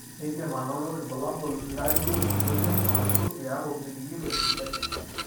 kindim anoto ilbulabul ilaijio ilemion arashu iaku miningito esidai.